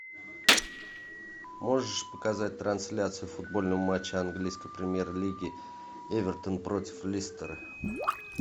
можешь показать трансляцию футбольного матча английской премьер лиги эвертон против лестера